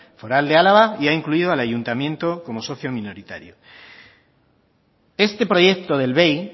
foral de álava y ha incluido al ayuntamiento como socio minoritario este proyecto del bei